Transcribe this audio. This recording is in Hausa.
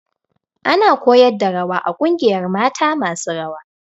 Ana koyar da rawa a ƙungiyar mata masu rawa